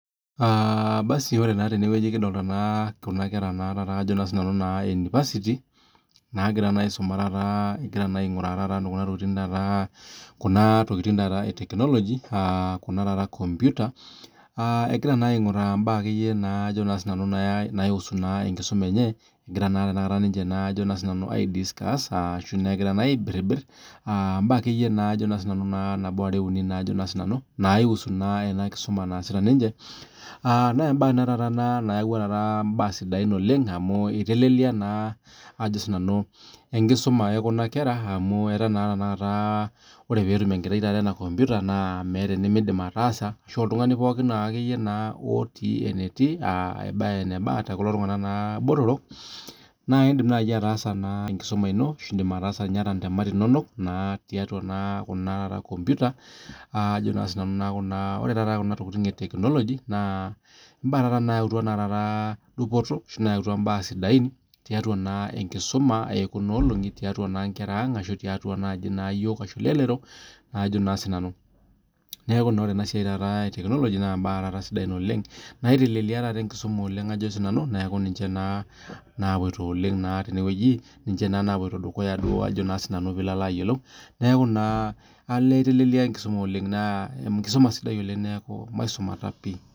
Ore naa tenewueji kidolita Kuna kera we university egira aing'uraa Kuna tokitin ee tekinoloji Kuna taata kompita egira aing'uraa akeyie mbaa naihusu enkisuma enye egira naatanakata aidiscuss ashu egira aibiribir mbaa ekeyie nabo are uni naihusu ena kisuma naasita ninche naa embae taata ena nayawua mbaa sidain oleng amu etelelia enkisuma ekuna kera amu etaa tenetum enkerai enakompita meeta enimidim ataasa ashu oltung'ani pookin otii enetii too kulo tung'ana botorok naa edim naaji ataasa enkisuma eno ashu edim ataasa entemat enonok tiatua Kuna kompita neeku Ajo nanu ore Kuna tokitin ee etekinoloji naa mbaa nayautua taata dupoto tiatua enkisuma ekuna olongi ashu tiatua enkera ang tiatua elelero neeku ore taata enasiai ee etekinoloji naa mbaa sidain oleng naitelelia taata enkisuma oleng neeku ninche taata naapuoito oleng tenewueji ninche napuoito dukuya oleng pee elo ayiolou olee etelia enkusuma oleng naa enkisuma sidai neeku emaisumata pii